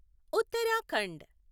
Uttarakhand